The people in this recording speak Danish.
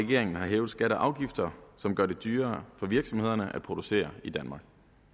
regeringen har hævet skatter og afgifter som gør det dyrere for virksomhederne at producere i danmark